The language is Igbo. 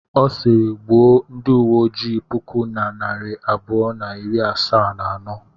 Ọ sịịrị, gbuo ndị uwe ojii puku na narị abụọ na iri asaa na anọ.